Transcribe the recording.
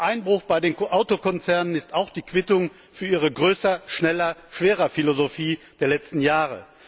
Der Einbruch bei den Autokonzernen ist auch die Quittung für ihre Größer Schneller Schwerer Philosophie der letzten Jahre.